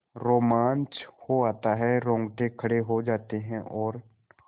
रोमांच हो आता है रोंगटे खड़े हो जाते हैं और